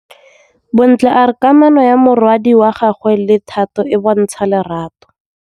Bontle a re kamanô ya morwadi wa gagwe le Thato e bontsha lerato.